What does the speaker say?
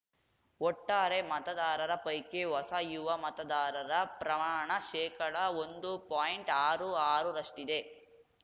ಒಟ್ಟಾರೆ ಮತದಾರರ ಪೈಕಿ ಹೊಸ ಯುವಮತದಾರರ ಪ್ರಮಾಣ ಶೇಕಡ ಒಂದು ಪಾಯಿಂಟ್ಆರು ಆರು ರಷ್ಟಿದೆ